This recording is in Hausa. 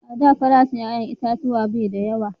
A da farashin 'ya'yan itatuwa bai da yawa